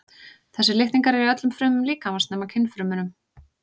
Þessir litningar eru í öllum frumum líkamans nema kynfrumunum.